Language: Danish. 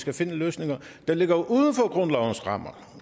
og finde løsninger der ligger uden for grundlovens rammer